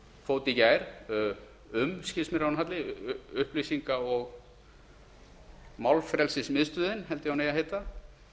fót í gær um skilst mér að hún heiti upplýsinga og málfrelsismiðstöðin held ég að hún eigi að